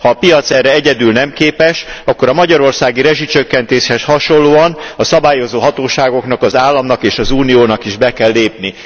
Ha a piac erre egyedül nem képes, akkor a magyarországi rezsicsökkentéshez hasonlóan a szabályozó hatóságoknak, az államnak és az Uniónak is be kell lépni.